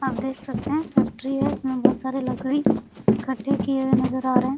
आप देख सकते है फैक्ट्री है इसमे बहुत सारे लकड़ी इकट्ठे किए हुए नजर आ रहे हैं।